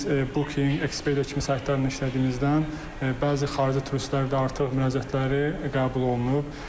Biz Booking, Expedia kimi saytlarla işlədiyimizdən bəzi xarici turistlərdə artıq müraciətləri qəbul olunub.